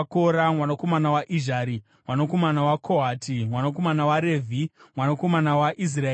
mwanakomana waIzhari, mwanakomana waKohati, mwanakomana waRevhi mwanakomana waIsraeri.